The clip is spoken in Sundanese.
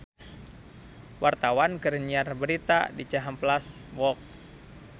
Wartawan keur nyiar berita di Cihampelas Walk